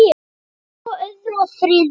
Svo öðru og þriðja.